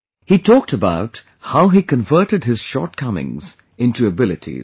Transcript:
He talked about how he converted his shortcomings into abilities